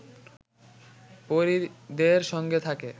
পরিদের সঙ্গে থাকে